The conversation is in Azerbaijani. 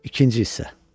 İkinci hissə.